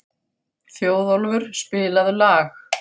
Þjóðólfur, spilaðu lag.